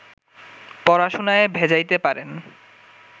পড়াশুনায় ভেজাইতে পারেন